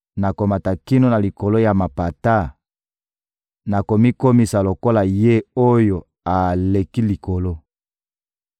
nakomata kino na likolo ya mapata, nakomikomisa lokola Ye-Oyo-Aleki-Likolo.›